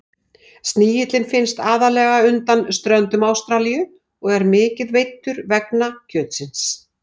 Snigillinn finnst aðallega undan ströndum Ástralíu og er mikið veiddur vegna kjötsins.